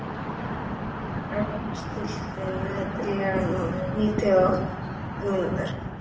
Hrafn, stilltu niðurteljara á níutíu og átta mínútur.